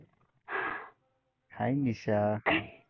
Hi Nisha